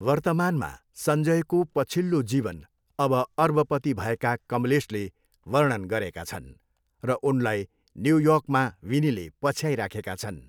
वर्तमानमा, सञ्जयको पछिल्लो जीवन अब अर्बपति भएका कमलेशले वर्णन गरेका छन् र उनलाई न्युयोर्कमा विनीले पछ्याइराखेका छन्।